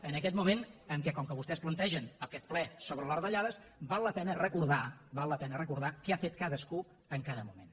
en aquest moment com que vostès plantegen aquest ple sobre les retallades val la pena recordar val la pena recordar què ha fet cadascú en cada moment